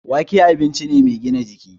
Wake abinci ne mai gina jiki